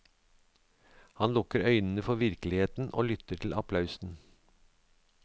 Han lukker øynene for virkeligheten og lytter til applausen.